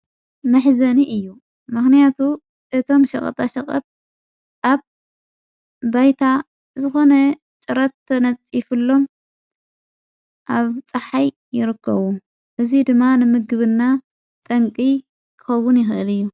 መሕዘኒ እዩ መኽንያቱ እቶም ሸቐጣ ሸቐብ ኣብ ባይታ ዝኾነ ጭረተ ነጺፉሎም ኣብ ፀሓይ ይርከዉ እዙይ ድማ ንምግብና ጠንቂ ከውን የኽእል እዩ።